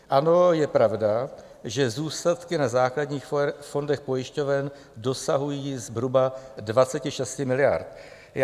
Ano, je pravda, že zůstatky na základních fondech pojišťoven dosahují zhruba 26 miliard.